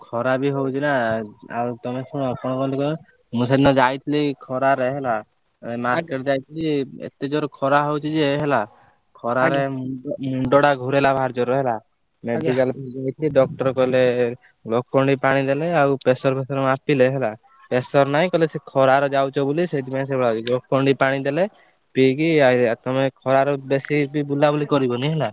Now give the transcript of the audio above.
ଖରା ବି ହଉଛି ନା ଆଉ ତମେ ଶୁଣ କଣ କହନି କହିଲ ମୁଁ ସେଦିନ ଯାଇଥିଲି ଖରାରେ ହେଲା market ଯାଇଥିଲି ଏତେ ଜୋରେ ଖରା ହଉଛି ଯେ ହେଲା ଖରାର ମୁଣ୍ଡଟା ଘୂରେଇଲା ଭାରି ଜୋରେ ହେଲା medical ଯାଇଥିଲି doctor କହିଲେ ଲୋକ ମାନେ ପାଣି ଦେଲେ ଆଉ pressure ଫେଶିୟର ମାପିଲେ ହେଲା pressure ଫେସର ନାହିଁ କହିଲେ ଖରାରେ ଯାଉଛ ବୋଲି ସେଥିପାଇଁ ସେମିତି ହଉଛି Glucon-D ପାଣି ଦେଲେ ପିକି ତମେ ଖରାରେ ବେଶୀ ବୁଲାବୁଲି କରିବନି ହେଲା।